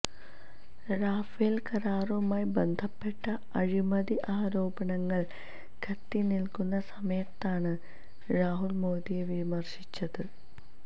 Rafale കരാറുമായി ബന്ധപ്പെട്ട അഴിമതി ആരോപണങ്ങള് കത്തിനില്ക്കുന്ന സമയത്താണ് രാഹുര് മോദിയെ വിര്ശിച്ചത്